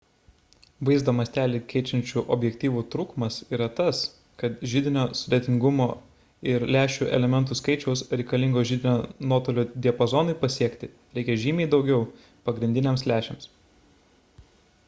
vaizdo mąstelį keičiančių objektyvų trūkumas yra tas kad židinio sudėtingumo ir lęšių elementų skaičiaus reikalingo židinio nuotolio diapazonui pasiekti reikia žymiai daugiau pagrindiniams lęšiams